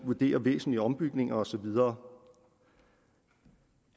vurdere væsentlige ombygninger og så videre